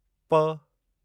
प